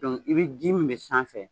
i be ji min bɛ sanfɛ